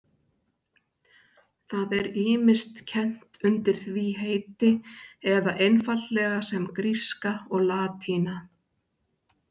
Það er ýmist kennt undir því heiti eða einfaldlega sem gríska og latína.